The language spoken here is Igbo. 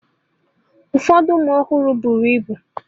Ụfọdụ ụmụ ọhụrụ bụrụ ịbụ.